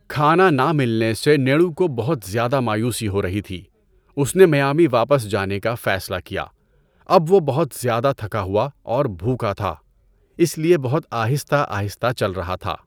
کھانا نہ ملنے سے نیڈو کو بُہت ذیادہ مایوسی ہو رہی تھی۔ اُس نے میامی واپس جانے کا فیصلہ کیا۔ اب وہ بُہت ذیادہ تھکا ہوا اور بھوکا تھا، اس لئے بُہت آہستہ آہستہ چل رہا تھا۔